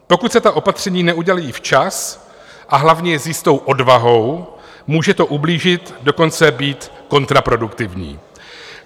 Pokud se ta opatření neudělají včas, a hlavně s jistou odvahou, může to ublížit, dokonce být kontraproduktivní.